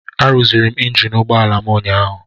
Arụziri m injin ụgbọala m ụnyaahụ.